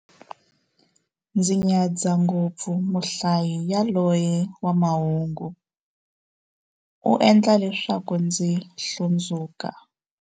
Ndzi nyadza ngopfu muhlayi yaloye wa mahungu, u endla leswaku ndzi hlundzuka.